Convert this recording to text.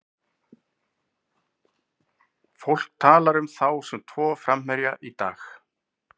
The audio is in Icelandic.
Fólk talar um þá sem tvo framherja í dag.